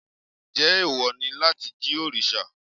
Njẹ́ ẹ̀wọ̀ ni láti jí òrìṣà?